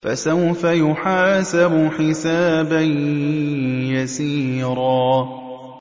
فَسَوْفَ يُحَاسَبُ حِسَابًا يَسِيرًا